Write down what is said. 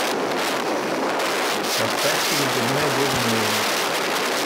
поставьте ледяное безмолвие